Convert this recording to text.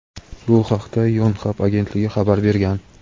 Bu haqda "Yonhap" agentligi xabar bergan.